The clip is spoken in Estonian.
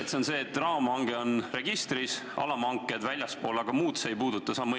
Kas on sedasi, et raamhange on registris ja alamhanked on väljaspool ning muud see muudatus ei puuduta?